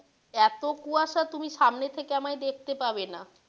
এতো কুয়াশা তুমি সামনে থেকে আমায় দেখতে পাবে না।